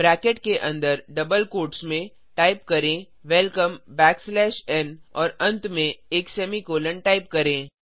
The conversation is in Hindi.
ब्रैकेट के अंदर डबल क्वोट्स में टाइप करें वेलकम बैकस्लैश एन और अंत में एक सेमीकोलों टाइप करें